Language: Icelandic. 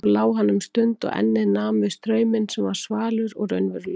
Svo lá hann um stund og ennið nam við strauminn sem var svalur og raunverulegur.